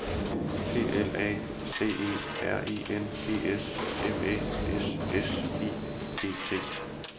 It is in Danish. P L A C E R I N G S M Æ S S I G T